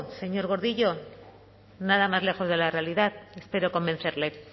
señor gordillo nada más lejos de la realidad espero convencerle